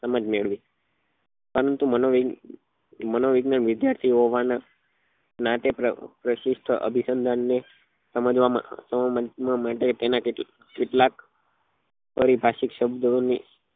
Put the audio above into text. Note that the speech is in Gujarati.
સમજ મેળવીએ પરંતુ મનો મનો વીજ્ઞાન વિદ્યાર્થી હોવાના પ્રશિષ્ટ અભિસંધાન ને સમજવા ના સમજવા માટે તેના કેટલાક પારિભાષિક શબ્દો ની